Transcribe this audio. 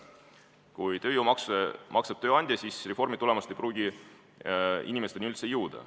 Kui tööjõumaksu maksab tööandja, siis reformi tulemus ei pruugi inimesteni üldse jõuda.